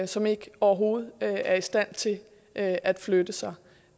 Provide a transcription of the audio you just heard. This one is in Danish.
som ikke overhovedet er i stand til at at flytte sig